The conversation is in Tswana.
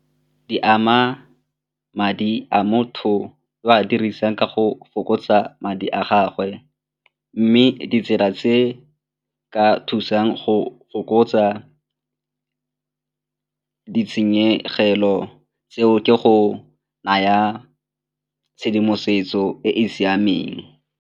Di ama madi a motho a dirisang ka go fokotsa madi a gagwe mme ditsela tse di ka thusang go fokotsa ditshenyegelo tseo ke go naya tshedimosetso e e siameng.